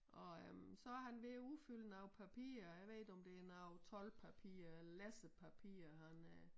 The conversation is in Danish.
Og øh så han ved at udfylde noget papirer jeg ved ikke om det noget toldpapirer eller lassepapirer han øh